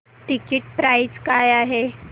ticket price काय आहे